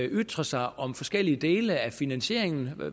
ytret sig om forskellige dele af finansieringen